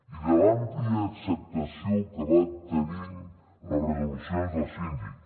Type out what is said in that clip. i de l’àmplia acceptació que van tenint les resolucions del síndic